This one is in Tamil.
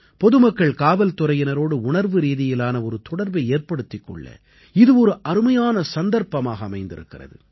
பொதுமக்கள் காவல்துறையினரோடு உணர்வுரீதியிலான ஒரு தொடர்பை ஏற்படுத்திக் கொள்ள இது ஒரு அருமையான சந்தர்ப்பமாக அமைந்திருக்கிறது